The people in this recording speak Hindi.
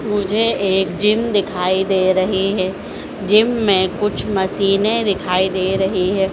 मुझे एक जिम दिखाई दे रहीं हैं जिम मे कुछ मशीनें दिखाई दे रहीं हैं।